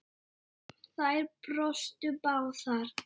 Þær brostu báðar.